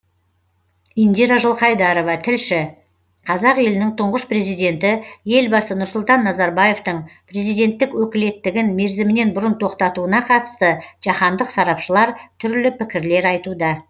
индира жылқайдарова тілші қазақ елінің тұңғыш президенті елбасы нұрсұлтан назарбаевтың президенттік өкілеттігін мерзімінен бұрын тоқтатуына қатысты жаһандық сарапшылар түрлі пікірлер айтуда